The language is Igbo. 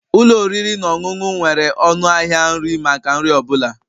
Ụlọ oriri na ọṅụṅụ nwere ọnụ ahịa nri maka nri ọ bụla